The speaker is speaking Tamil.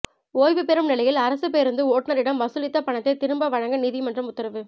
ஓய்வு பெறும் நிலையில் அரசுப் பேருந்து ஓட்டுநரிடம் வசூலித்த பணத்தை திரும்ப வழங்க நீதிமன்றம் உத்தரவு